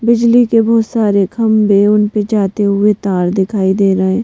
बिजली के बहुत सारे खंबे उन पर जाते हुए तार दिखाई दे रहे हैं।